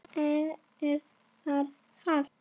Er þér kalt?